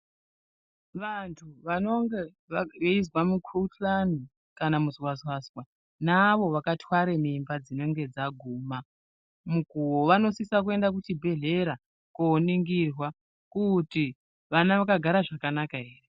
Vantu vanonga veizwe mukhuhlane kana muzwazwazwa nevaro vakatwara mimba dzinenge dzaguma mukuwo vanosisa kuenda kuchibhehlera koningirwa kuti vana vakagara zvakanaka ere.